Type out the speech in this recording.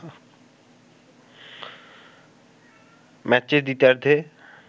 ম্যাচের দ্বিতীয়ার্ধে